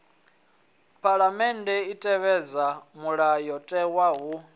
phaḽamennde i tevhedza mulayotewa hu